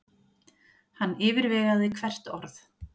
Hann yfirvegaði hvert orð.